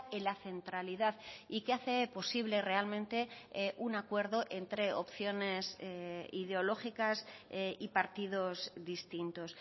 en la centralidad y que hace posible realmente un acuerdo entre opciones ideológicas y partidos distintos